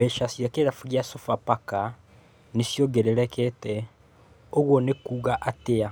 Mbeca cia kĩrabu kĩa Sofapaka nĩ ciongererekete, ũguo nĩ kuuga atĩa?